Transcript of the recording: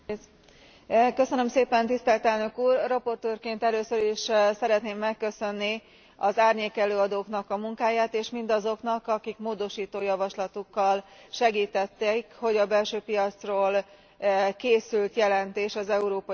Rapportőrként először is szeretném megköszönni az árnyékelőadóknak a munkáját, és mindazoknak, akik módosító javaslatukkal segítették, hogy a belső piacról készült jelentés az európai szemeszteren belül ezt a formát elnyerje.